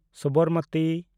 Sabarmati